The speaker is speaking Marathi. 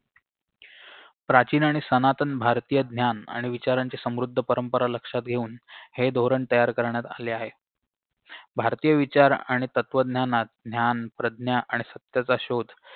प्राचीन आणि सनातन भारतीय ज्ञान आणि विचारांची समृद्ध परंपरा लक्षात घेऊन हे धोरण तयार करण्यात आले आहे भारतीय विचार आणि तत्वज्ञानात ज्ञान प्रज्ञा आणि सत्याचा शोध